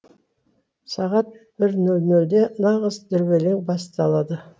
сағат бір нөл нөлде нағыз дүрбелең басталады